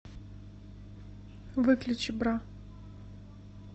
выключи бра